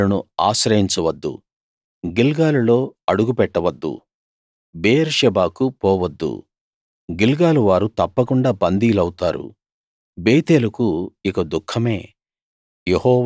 బేతేలును ఆశ్రయించవద్దు గిల్గాలులో అడుగు పెట్టవద్దు బెయేర్షెబాకు పోవద్దు గిల్గాలు వారు తప్పకుండా బందీలవుతారు బేతేలుకు ఇక దుఖమే